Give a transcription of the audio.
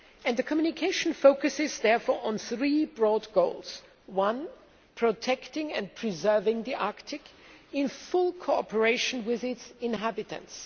The communication focuses on three broad goals protecting and preserving the Arctic, in full cooperation with its inhabitants